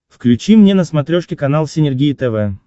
включи мне на смотрешке канал синергия тв